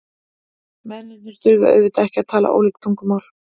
Mennirnir þurfa auðvitað ekki að tala ólík tungumál.